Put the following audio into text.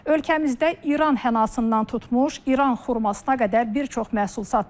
Ölkəmizdə İran hənassından tutmuş, İran xurmasına qədər bir çox məhsul satılır.